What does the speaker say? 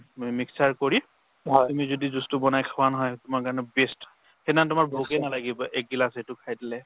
মানে mixture কৰি তুমি যদি juice তো বনাই খোৱা নহয় তোমাৰ কাৰণে best সেইদিনাখন তোমাৰ ভোকে নালাগিব এক গিলাচ সেইটো খাই দিলে